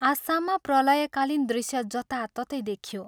आसाममा प्रलयकालीन दृश्य जताततै देखियो।